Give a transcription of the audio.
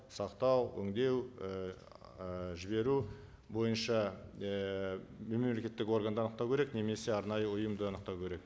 сақтау өндеу ііі жіберу бойынша ііі мемлекеттік органды анықтау керек немесе арнайы ұйымды анықтау керек